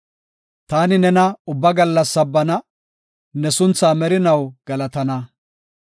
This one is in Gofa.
Taani nena ubba gallas sabbana; ne sunthaa merinaw galatana.